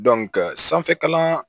sanfɛ kalan